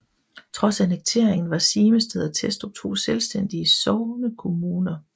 Trods annekteringen var Simested og Testrup to selvstændige sognekommuner